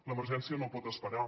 l’emergència no pot esperar